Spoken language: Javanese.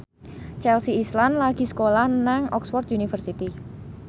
Chelsea Islan lagi sekolah nang Oxford university